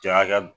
Jakɛ